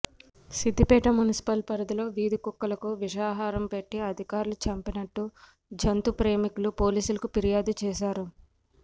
Siddipet municipal పరిధిలో వీధి కుక్కలకు విషాహారం పెట్టి అధికారులు చంపినట్టు జంతు ప్రేమికులు పోలీసులకు ఫిర్యాదు చేశారు